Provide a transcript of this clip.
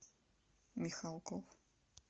михалков